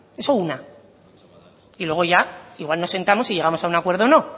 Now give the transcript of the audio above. eso una y luego ya igual nos sentamos y llegamos a un acuerdo o no